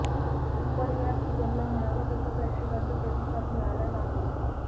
पण या सिझनला म्हणावा तसा प्रेक्षकांचा प्रतिसाद मिळाला नाही